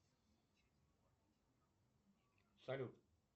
салют